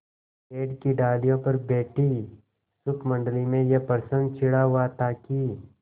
पेड़ की डालियों पर बैठी शुकमंडली में यह प्रश्न छिड़ा हुआ था कि